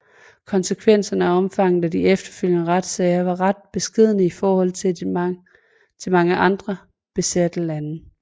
Konsekvenserne og omfanget af de efterfølgende retssager var ret beskedne i forhold til mange andre besatte lande